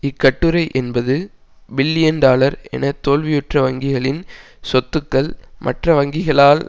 இக்கட்டுரை எண்பது billion dollar என தோல்வியுற்ற வங்கிகளின் சொத்துக்கள் மற்ற வங்கிகளால்